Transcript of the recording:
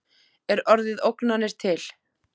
Er orðið ógnanir til?